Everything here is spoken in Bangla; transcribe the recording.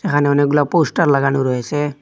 এখানে অনেকগুলা পোস্টার লাগানো রয়েসে।